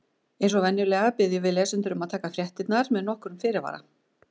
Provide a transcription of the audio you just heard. Eins og venjulega biðjum við lesendur um að taka fréttirnar með nokkrum fyrirvara.